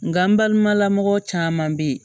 Nga balimala mɔgɔ caman be yen